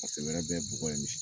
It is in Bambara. Paseke wɛrɛ bɛ ye bɔgɔ ye misi